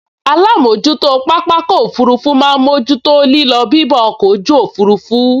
Alámojútó pápákọ̀ òfurufú máa n mójú tó lílọ bibọ̀ ọkọ̀ ojú òfurufú